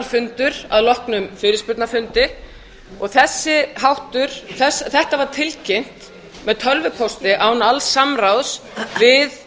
fundur að loknum fyrirspurnafundi og þetta var tilkynnt með tölvupósti án alls samráðs við